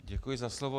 Děkuji za slovo.